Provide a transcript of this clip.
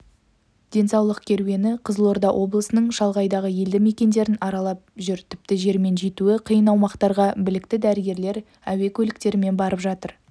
денсаулық керуені қызылорда облысының шалғайдағы елді мекендерін аралап жүр тіпті жермен жетуі қиын аумақтарға білікті дәрігерлер әуе көліктерімен барып жатыр